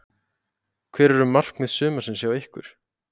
Hver eru markmið sumarsins hjá ykkur?